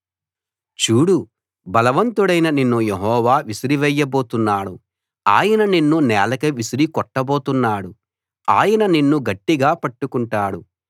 చూడు బలవంతుడివైన నిన్ను యెహోవా విసిరి వేయబోతున్నాడు ఆయన నిన్ను నేలకు విసిరి కొట్టబోతున్నాడు ఆయన నిన్ను గట్టిగా పట్టుకుంటాడు